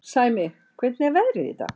Sæmi, hvernig er veðrið í dag?